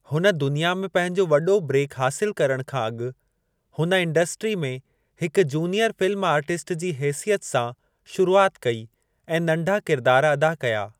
हुन दुनिया में पंहिंजो वॾो ब्रेक हासिल करणु खां अॻु हुन इंडस्ट्री में हिक जूनीयर फ़िल्म आर्टिस्ट जी हेसियत सां शुरूआति कई ऐं नंढा किरिदारु अदा कया।